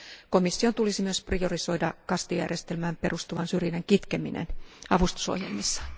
Komission tulisi myös priorisoida kastijärjestelmään perustuvan syrjinnän kitkeminen avustusohjelmissaan.